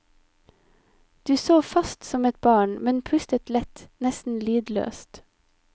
Du sov fast som et barn, men pustet lett, nesten lydløst.